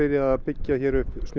að byggja hér upp